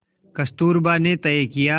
कस्तूरबा ने तय किया